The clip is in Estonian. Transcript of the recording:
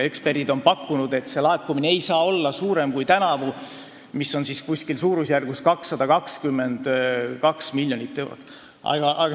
Eksperdid on pakkunud, et tänavune laekumine ei saa olla suurem kui eelmisel aastal, kui suurusjärk oli 222 miljonit eurot.